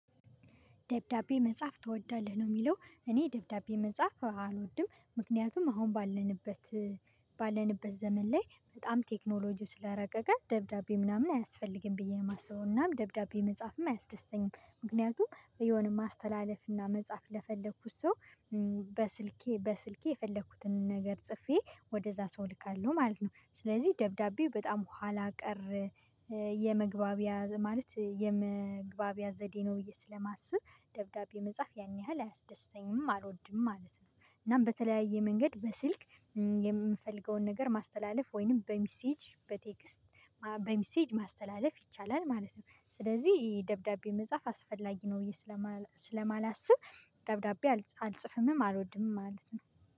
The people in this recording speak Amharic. ደብዳቤ መጻፍ ትወዳለህ? ነው የሚለው እኔ ደብዳቤ መጻፍ አልወድም። ምክንያቱም አሁን ባለንበት ባለንበት ዘመን ላይ በጣም ቴክኖሎጂው ስላረቀቀ ደብዳቤ ምናምን አያስፈልግም ብዬ ነው የማስበው። እናም ደብዳቤ መጽሐፍም አያስደስተኝም። ምክንያቱም የሆነ ማስተላለፍ እና መጽሐፍ ለፈለኩት ሰው፤ በስልኬ በስልኬ የፈለኩትን ነገር ጽፌ ወደዛ ሰው እልካለሁ ማለት ነው። ስለዚህ ደብዳቤው በጣም ኋላ ቀር የመግባቢያ ማለት የመግባቢያ ዘዴ ነው ብዬ ስለማስብ ደብዳቤ መጽሐፍ ያን ያህል አያስደስተኝም አልወድም አልስብም። እናም በተለያየ መንገድ በስልክ ነገር ማስተላለፍ ወይንም በሚሴጅ በቴክስት በሚሴጅ ማስተላለፍ ይቻላል ማለት ነው። ስለዚህ ደብዳቤ መጻፍ አስፈላጊ ነው ብዬ ስለማላስብ ደብዳቤ አልጽፍምም አልወድምም ማለት ነው።